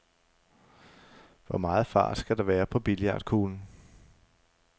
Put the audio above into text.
Hvor meget fart skal der være på billiardkuglen?